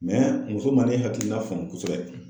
muso ma ne hakilina faamu kosɛbɛ